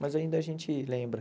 Mas ainda a gente lembra.